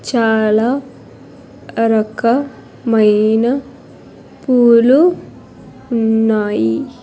చాలా రక మైన పూలు ఉన్నాయి.